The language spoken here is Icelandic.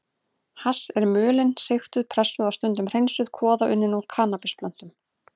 Hass er mulin, sigtuð, pressuð og stundum hreinsuð kvoða unnin úr kannabisplöntum.